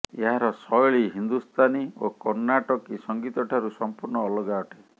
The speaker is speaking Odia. ଏହାର ଶୈଳୀ ହିନ୍ଦୁସ୍ତାନୀ ଓ କର୍ଣ୍ଣାଟକୀ ସଙ୍ଗୀତଠାରୁ ସମ୍ପୂର୍ଣ୍ଣ ଅଲଗା ଅଟେ